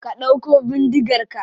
Ka dauko bindigar ka.